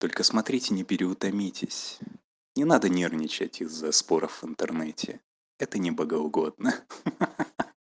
только смотрите не переутомитесь не надо нервничать из-за споров в интернете это не богоугодно ха-ха